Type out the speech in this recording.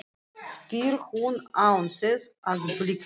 spyr hún án þess að blikna.